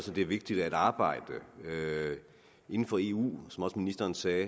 det er vigtigt at arbejde inden for eu som også ministeren sagde